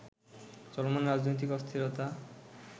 চলমান রাজনৈতিক অস্থিরতা